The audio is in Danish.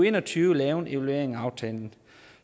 en og tyve lave en evaluering af aftalen